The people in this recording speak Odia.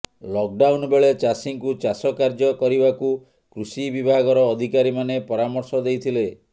ଲକଡାଉନ୍ ବେଳେ ଚାଷୀଙ୍କୁ ଚାଷ କାର୍ଯ୍ୟ କରିବାକୁ କୃଷି ବିଭାଗର ଅଧିକାରୀମାନେ ପରାମର୍ଶ ଦେଇଥିଲେ